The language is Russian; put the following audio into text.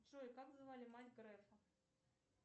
джой как звали мать грефа